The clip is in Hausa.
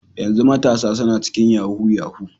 Yanzu matasa suna cikin yahoo yahoo.